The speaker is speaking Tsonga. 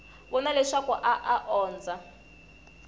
vona leswaku a a ondza